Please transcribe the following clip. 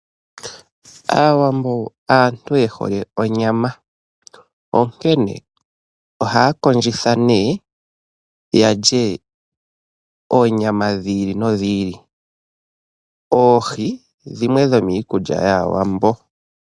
Aawambo aantu yehole onyama, onkene ohaya kondjitha neeh yalye oonyama dhiili nodhiili, oohi dhimwe dhimwe dhomiikulya yaAwambo.